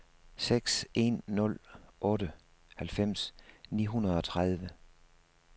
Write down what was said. seks en nul otte halvfems ni hundrede og tredive